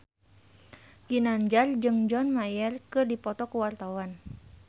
Ginanjar jeung John Mayer keur dipoto ku wartawan